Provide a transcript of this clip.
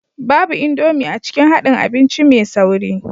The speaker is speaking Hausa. Babu Indomie a cikin haɗin abinci mai sauri